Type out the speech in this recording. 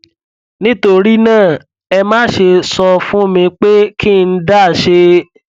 nítorí náà ẹ má ṣe sọ fún mi pé kí n dá ṣe é